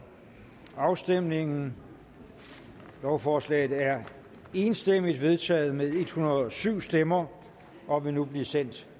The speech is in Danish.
afstemningen lovforslaget er enstemmigt vedtaget med en hundrede og syv stemmer og vil nu blive sendt